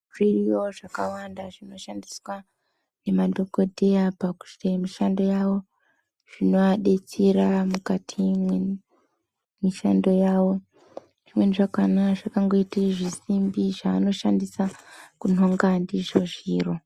Zviriyo zvinoshandiswa ngemadhokodheya pakuite mishando yavo zvinovadetsera mukati mwemishando yavo. Zvimweni zvakhona zvakangoite zvisimbi zvavanoshandisa kunonga ndizvo zviro.